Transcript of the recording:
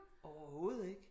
Overhovedet ikke